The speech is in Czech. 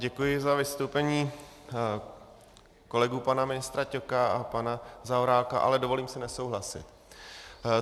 Děkuji za vystoupení kolegů pana ministra Ťoka a pana Zaorálka, ale dovolím si nesouhlasit.